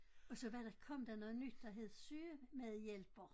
Og så var der kom der noget nyt der hed sygemedhjælper